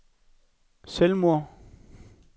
selvmord